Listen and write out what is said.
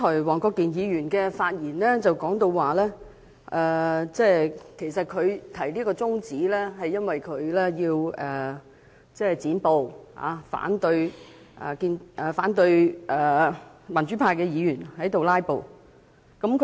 黃國健議員剛才發言時表示，他提出中止待續議案的原因是要"剪布"，反對民主派議員"拉布"。